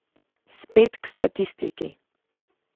Spet k statistiki.